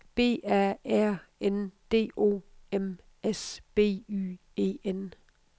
B A R N D O M S B Y E N